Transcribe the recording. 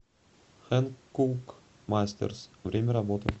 хэнкук мастерс время работы